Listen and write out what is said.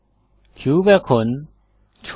cube এখন ছোটো হয়